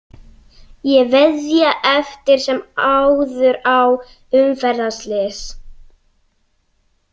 Ég veðja eftir sem áður á umferðarslys.